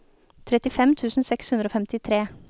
trettifem tusen seks hundre og femtitre